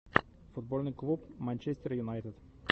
футбольный клуб манчестер юнайтед